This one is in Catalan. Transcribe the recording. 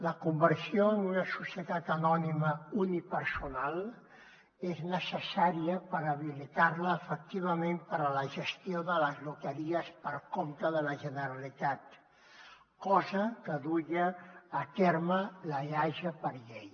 la conversió en una societat anònima unipersonal és necessària per habilitarla efectivament per a la gestió de les loteries per compte de la generalitat cosa que duia a terme l’eaja per llei